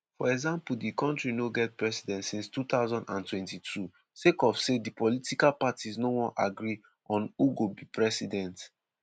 for example di kontri no get president since 2022 sake of say di political parties no wan agree on who go be president.